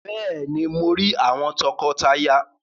Béèni, Mọ tí rí àwọn tọkọtaya